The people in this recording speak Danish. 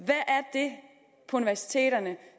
det på universiteterne